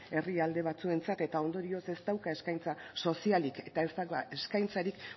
herrialde batzuentzat eta ondorioz ez dauka eskaintza sozialik eta ez dauka eskaintzarik